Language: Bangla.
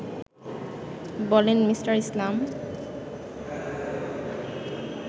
বলেন মি. ইসলাম